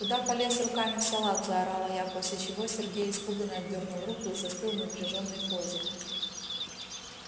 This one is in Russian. куда полез руками в салат заорала я после чего сергей испуганно отдёрнул руку и застыл в напряжённой позе